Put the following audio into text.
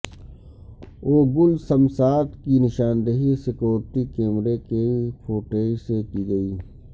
اوگل سمسات کی نشاندہی سکیورٹی کیمرے کی فوٹیج سے کی گئی